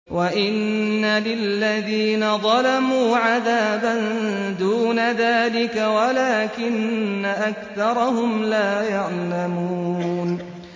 وَإِنَّ لِلَّذِينَ ظَلَمُوا عَذَابًا دُونَ ذَٰلِكَ وَلَٰكِنَّ أَكْثَرَهُمْ لَا يَعْلَمُونَ